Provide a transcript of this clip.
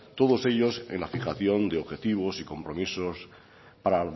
todos ellos en la fijación de objetivos y compromisos para